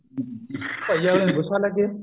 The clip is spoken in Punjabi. ਚਾਹੇ ਅਗਲੀ ਨੂੰ ਗੁੱਸਾ ਲੱਗੇ